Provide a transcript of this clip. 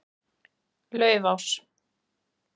Laufás